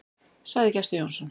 Sagði Gestur Jónsson.